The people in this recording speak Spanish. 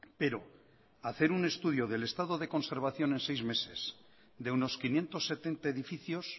pero hacer un estudio del estado de conservación en seis meses de unos quinientos setenta edificios